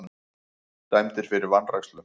Dæmdir fyrir vanrækslu